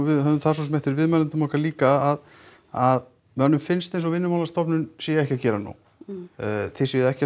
við höfðum það svo sem eftir viðmælendum okkar líka að að mönnum finnst eins og Vinnumálastofnun sé ekki að gera nóg þið séuð ekki að